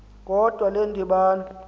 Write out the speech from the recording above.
kodwa le ndibano